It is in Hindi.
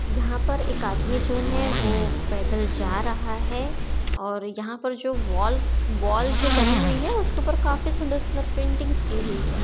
यहां पर एक आदमी जो है वो पैदल जा रहा है और यहां पर जो वॉल वॉल जो बनी हुई है उसके ऊपर काफी सुंदर सुंदर पेंटिंग्स की हुई है।